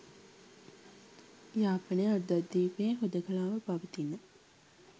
යාපනය අර්ධද්වීපයේ හුදකලාව පවතින